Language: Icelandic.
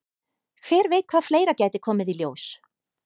Hver veit hvað fleira gæti komið í ljós?